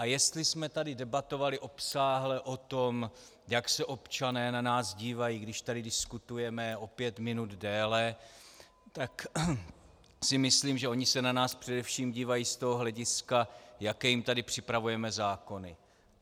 A jestli jsme tady debatovali obsáhle o tom, jak se občané na nás dívají, když tady diskutujeme o pět minut déle, tak si myslím, že oni se na nás především dívají z toho hlediska, jaké jim tady připravujeme zákony.